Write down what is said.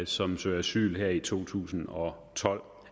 som søger asyl her i to tusind og tolv